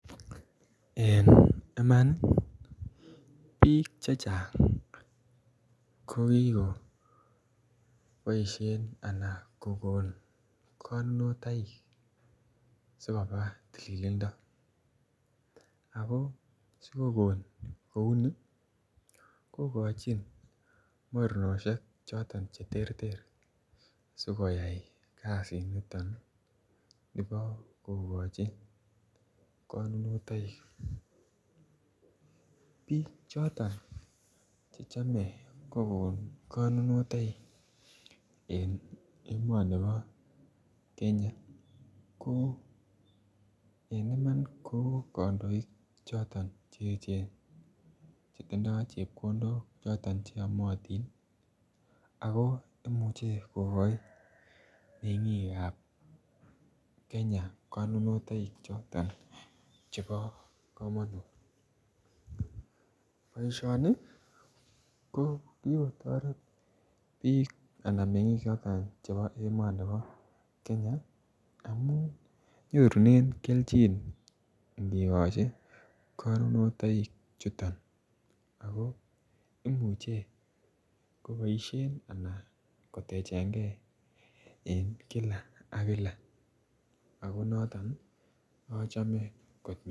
En iman piik che chang' ko kikopaishen anan kokol konunotoik si koba tililindo. Ako si kokon kou ni ,kokachin mornoshek choton che terter asikoyai kasiniton po kokachi konunotaik. Piik choton che chame kokon konunotaik en emani pa Kenya ko, en iman, ko kandoik choton che echen che tindai chepkondok choton che yamatin. Kora imuchi kokachi meng'iik ap Kenya konunoichotok chepo kamanut. Poishoni ko kikotaret piik anan meng'iik chotok po emani pa Kenya amu nyorune kelchin ngikachi konunotaik chuton ako imuchi kopaishen anan kotechen gei eng' kila ak kila ako noton achame kot missing'.